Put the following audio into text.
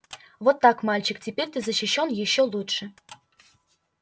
вот так мальчик теперь ты защищён ещё лучше